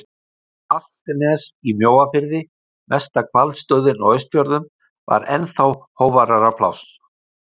Asknes í Mjóafirði, mesta hvalstöðin á Austfjörðum, var ennþá hógværara pláss.